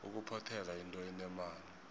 ukuphothela yinto enemali